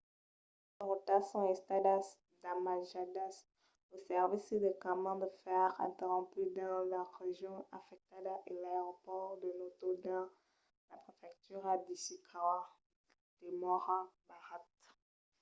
qualques rotas son estadas damatjadas lo servici de camin de fèrre interromput dins las regions afectadas e l'aeropòrt de noto dins la prefectura d'ishikawa demòra barrat